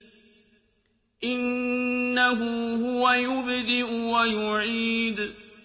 إِنَّهُ هُوَ يُبْدِئُ وَيُعِيدُ